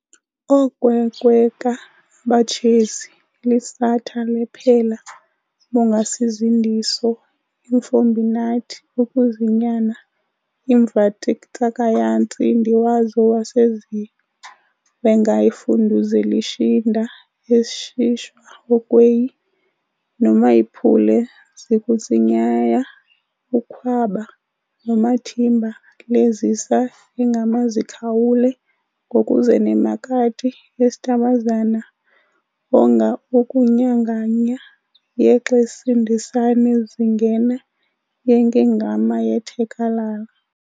oOkwenkweka abatshezi elishatha lePhela bongasizindiso emfombinati okuzinyana imvatsitakayatsinda wazo weseZiwengayifunduzelishinda esishwa oKweyi, nomayiphule zikutsinyaya ukhwaba nomathimba-leZisa engamaZikhawule ngokuzenemakati esitabazana engaOkunyanganya yeXesindisane zingena yenke'ngama yethekalaka